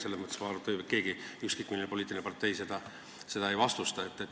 Ma arvan, et seda ei vaidlusta mitte ükski poliitiline partei.